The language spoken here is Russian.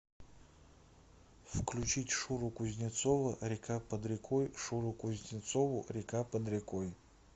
включить шуру кузнецова река под рекой шуру кузнецову река под рекой